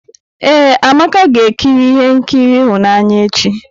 Ee, Amaka ga-ekiri ihe nkiri ịhụnanya echi.